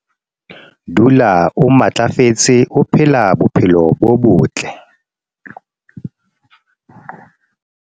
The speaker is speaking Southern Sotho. dula o matlafetse o phela bophelo bo botle